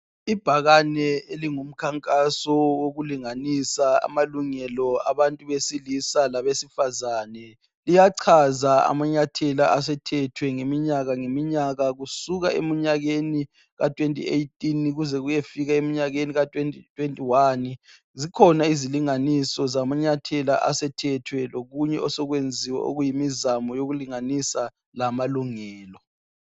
Ibhakane elingumkhankaso wokulinganisa amalungelo abantu besilisa labesifazana liyachaza amanyathela asethethwe ngeminyaka ngeminyaka kusuka emnyakeni ka2018 kuze kuyefika emnyakeni ka2021.Zikhona izilinganiso zamanyathela asethethwe lokunye osokwenziwe okuyimizamo yokulinganisa lamalungelo.